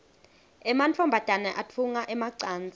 emantfombane atfunga emacansi